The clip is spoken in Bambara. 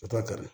O t'a kari